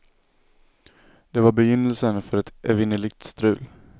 Det var begynnelsen för ett evinnerligt strul.